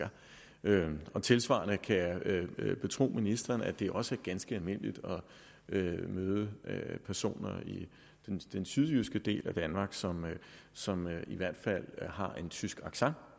tilsvarende kan jeg betro ministeren at det også er ganske almindeligt at møde personer i den sydjyske del af danmark som som i hvert fald har en tysk accent